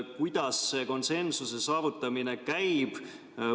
Kuidas see konsensuse saavutamine käib?